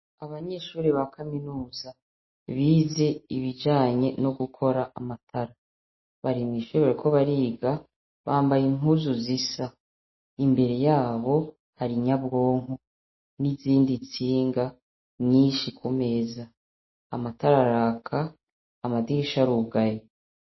Abanyeshure ba kaminuza bize ibijanye no gukora amatara, bari mw'ishure bariko bariga bambaye impuzu zisa imbere yabo hari inyabwonko n'izindi ntsinga nyinshi kumeza, amatara araka amadirisha arugaye.